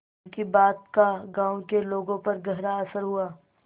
उनकी बात का गांव के लोगों पर गहरा असर हुआ